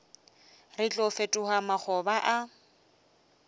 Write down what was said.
re tlo fetoga makgoba a